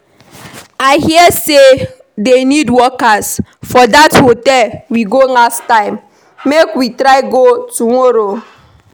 I hear say dey need workers for dat hotel we go last time, make we try go tomorrow